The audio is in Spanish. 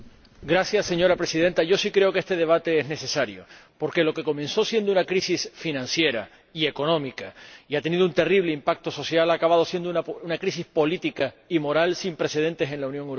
Señora Presidenta, yo sí creo que este debate es necesario, porque lo que comenzó siendo una crisis financiera y económica, que ha tenido un terrible impacto social, ha acabado siendo una crisis política y moral sin precedentes en la Unión Europea.